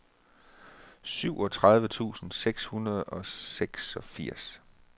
syvogtredive tusind seks hundrede og seksogfirs